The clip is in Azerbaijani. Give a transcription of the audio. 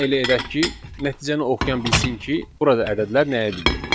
Gəlin elə edək ki, nəticəni oxuyan bilsin ki, burada ədədlər nəyi bildirir.